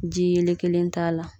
Ji yelen kelen t'a la